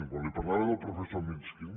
quan li parlava del professor mishkin